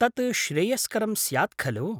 तत् श्रेयस्करं स्यात् खलु?